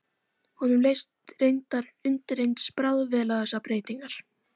Honum leist reyndar undireins bráðvel á þessar breytingar.